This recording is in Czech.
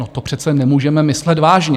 No to přece nemůžete myslet vážně?